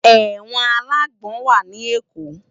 Èwòn àlágbòn wá ni Ékó